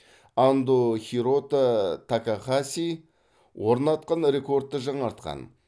андо хирото такахаси орнатқан рекордты жаңартқан